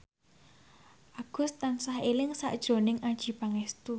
Agus tansah eling sakjroning Adjie Pangestu